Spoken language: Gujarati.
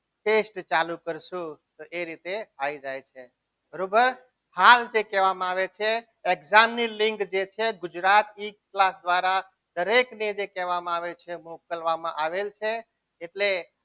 test ચાલુ કરશો તો એ રીતે આવી જાય છે બરાબર હાલ જે કહેવામાં આવે છે. exam ની જે લીક છે તે ગુજરાતમાં દરેક દ્વારા કહેવામાં આવે છે મોકલવામાં આવેલ છે. એટલે